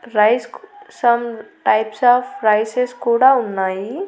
రైస్కు some types of rices కూడా ఉన్నాయి.